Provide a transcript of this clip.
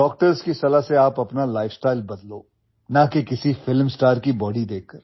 doctors की सलाह से आप अपना लाइफस्टाइल बदलो ना कि किसी फिल्म स्टार की बॉडी देखकर